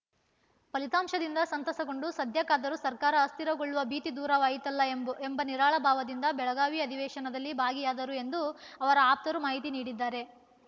ಫಲಿತಾಂಶದಿಂದ ಸಂತಸಗೊಂಡು ಸದ್ಯಕ್ಕಾದರೂ ಸರ್ಕಾರ ಅಸ್ಥಿರಗೊಳ್ಳುವ ಭೀತಿ ದೂರವಾಯಿತಲ್ಲ ಎಂಬು ಎಂಬ ನಿರಾಳ ಭಾವದಿಂದ ಬೆಳಗಾವಿಯ ಅಧಿವೇಶನದಲ್ಲಿ ಭಾಗಿಯಾದರು ಎಂದು ಅವರ ಆಪ್ತರು ಮಾಹಿತಿ ನೀಡಿದ್ದಾರೆ